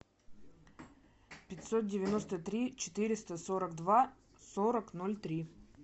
пятьсот девяносто три четыреста сорок два сорок ноль три